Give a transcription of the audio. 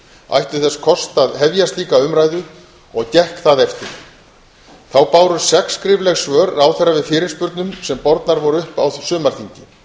ættu þess kost að hefja slíka umræðu og gekk það eftir þá bárust sex skrifleg svör ráðherra við fyrirspurnum sem bornar voru upp á sumarþingi